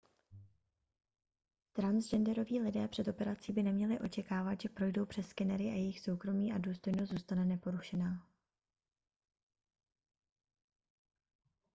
transgenderoví lidé před operací by neměli očekávat že projdou přes skenery a jejich soukromí a důstojnost zůstane neporušená